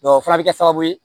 o fana bɛ kɛ sababu ye